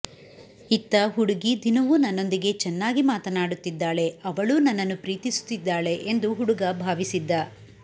ಇತ್ತ ಹುಡುಗಿ ದಿನವೂ ನನ್ನೊಂದಿಗೆ ಚೆನ್ನಾಗಿ ಮಾತನಾಡುತ್ತಿದ್ದಾಳೆ ಅವಳೂ ನನ್ನನ್ನು ಪ್ರೀತಿಸುತ್ತಿದ್ದಾಳೆ ಎಂದು ಹುಡುಗ ಭಾವಿಸಿದ್ದ